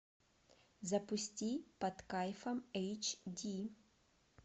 запусти под кайфом эйч ди